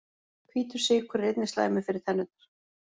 Hvítur sykur er einnig slæmur fyrir tennurnar.